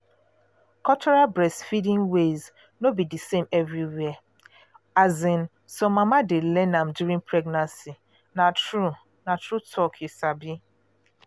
cultural breastfeeding ways no be the same everywhere. um some mama dey learn am during pregnancy na true na true talk you sabi.